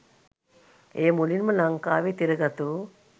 එය මුලින්ම ලංකාවේ තිරගත වූ